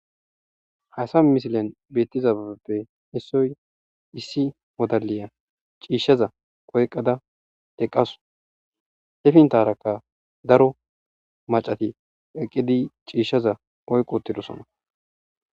haysa misilen beettiza baabeppe hissoy issi modaliya ciishshaza koyqada eqasu hefintarakka daro macati eqqidi ciishshaza oyqoottidosona